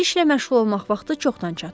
İşlə məşğul olmaq vaxtı çoxdan çatıb.